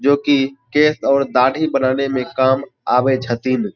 जो की केश और दाढ़ी बनने में काम आवे छथीन।